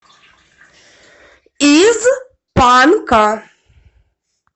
из панка